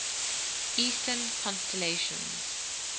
eastern constellations